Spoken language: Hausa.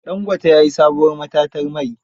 Dangote ya yi sabuwar matatar mai.